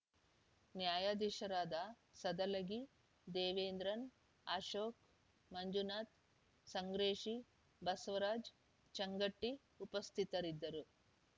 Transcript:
ನ್ಯಾಯಾಧೀಶರಾದ ಸದಲಗಿ ದೇವೇಂದ್ರನ್‌ ಅಶೋಕ್‌ ಮಂಜುನಾಥ್‌ ಸಂಗ್ರೇಶು ಬಸವರಾಜ್‌ ಚಂಗಟ್ಟಿಉಪಸ್ಥಿತರಿದ್ದರು